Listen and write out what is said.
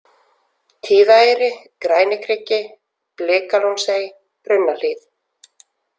Tíðaeyri, Grænikriki, Blikalónsey, Brunnahlíð